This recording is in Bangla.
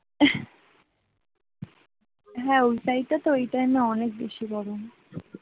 হ্যাঁ ওয়ে side টা তো ওই time অনেক বেশি গরম,